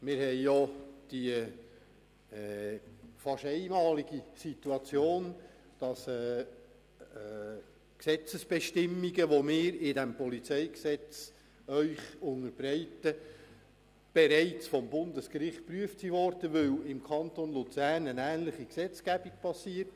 Wir haben die fast einmalige Situation, dass Gesetzesbestimmungen, die wir Ihnen mit diesem Gesetz unterbreiten, bereits vom Bundesgericht geprüft wurden, weil im Kanton Luzern eine ähnliche Gesetzgebung besteht.